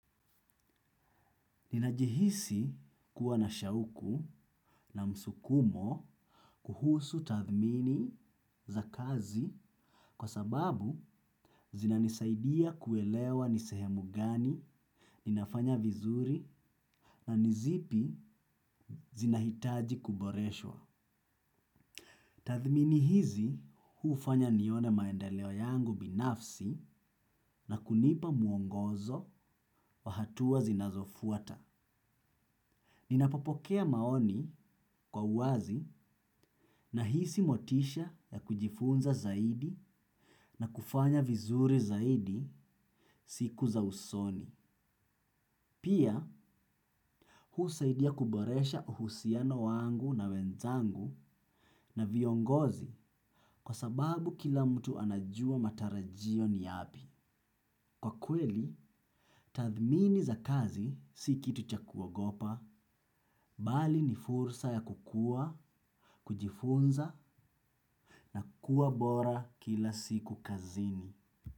Ninajihisi kuwa na shauku na msukumo kuhusu tathmini za kazi kwa sababu zinanisaidia kuelewa ni sehemu gani, ninafanya vizuri na nizipi zinahitaji kuboreshwa. Tathmini hizi hufanya nione maendeleo yangu binafsi na kunipa mwongozo wa hatua zinazofuata. Ninapopokea maoni kwa uwazi nahisi motisha ya kujifunza zaidi na kufanya vizuri zaidi siku za usoni. Pia, husaidia kuboresha uhusiano wangu na wenzangu na viongozi kwa sababu kila mtu anajua matarajio ni yapi. Kwa kweli, tathmini za kazi si kitu cha kuogopa, bali ni fursa ya kukua, kujifunza na kuwa bora kila siku kazini.